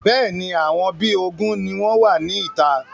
Bẹ́ẹ̀ni, àwọn bí ogún ni wọn wá ní ìta.